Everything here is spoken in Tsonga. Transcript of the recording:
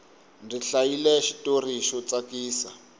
ndzi hlayile xitori xo tsakisa